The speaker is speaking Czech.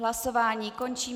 Hlasování končím.